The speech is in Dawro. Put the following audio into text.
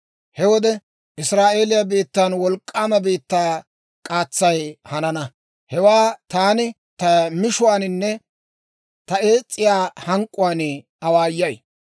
He wode Israa'eeliyaa biittan wolk'k'aama biittaa k'aatsay hanana; hewaa taani ta mishuwaaninne ta ees's'iyaa hank'k'uwaan awaayay.